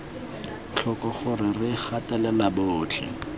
tlhoko gore re gatelela botlhe